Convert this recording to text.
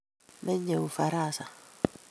Menyei ufaransa